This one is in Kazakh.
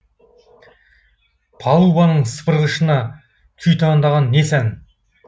палубаның сыпырғышына күй таңдаған не сән